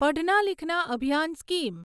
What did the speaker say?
Padhna Likhna Abhiyan scheme